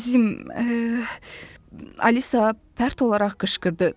əzizim, Alisa pərt olaraq qışqırdı.